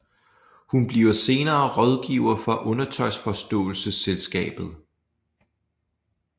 Hun bliver senere rådgiver for Undertøjsforståelsesselskabet